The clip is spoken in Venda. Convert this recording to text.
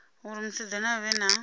uri musidzana a vhe na